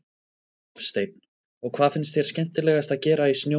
Hafsteinn: Og hvað finnst þér skemmtilegast að gera í snjónum?